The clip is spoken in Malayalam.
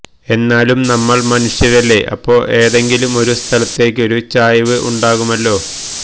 എന്നാലും നമ്മൾ മനുഷ്യരല്ലേ അപ്പോ ഏതെങ്കിലും ഒരു സ്ഥലത്തേക്കൊരു ചായ്വ് ഉണ്ടാകുമല്ലോ